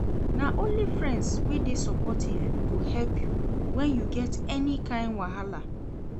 Na only friends wey dey supportive go help you when you get any kain wahala.